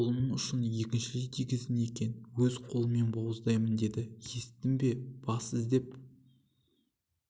қолыңның ұшын екіншілей тигіздің екен өз қолыммен бауыздаймын деді есіттің бе бас изеп